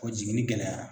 O jiginni gɛlɛyara